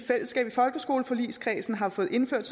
folkeskoleforligskredsen har fået indført